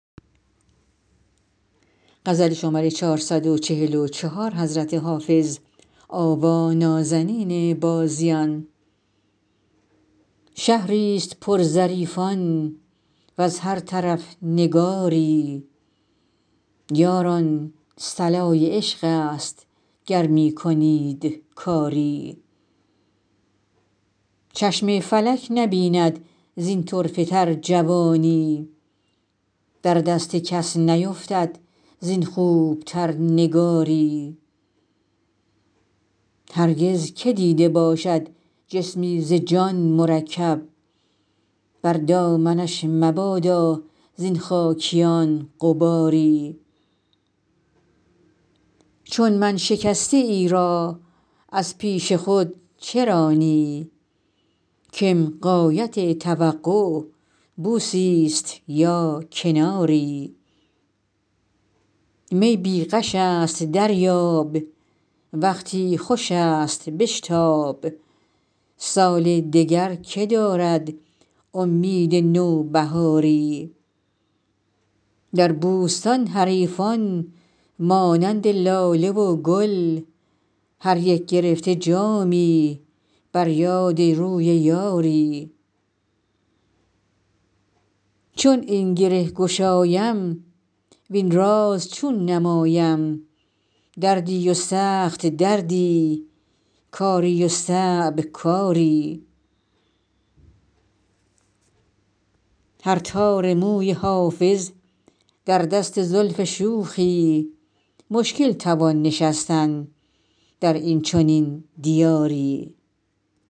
شهری ست پر ظریفان وز هر طرف نگاری یاران صلای عشق است گر می کنید کاری چشم فلک نبیند زین طرفه تر جوانی در دست کس نیفتد زین خوب تر نگاری هرگز که دیده باشد جسمی ز جان مرکب بر دامنش مبادا زین خاکیان غباری چون من شکسته ای را از پیش خود چه رانی کم غایت توقع بوسی ست یا کناری می بی غش است دریاب وقتی خوش است بشتاب سال دگر که دارد امید نوبهاری در بوستان حریفان مانند لاله و گل هر یک گرفته جامی بر یاد روی یاری چون این گره گشایم وین راز چون نمایم دردی و سخت دردی کاری و صعب کاری هر تار موی حافظ در دست زلف شوخی مشکل توان نشستن در این چنین دیاری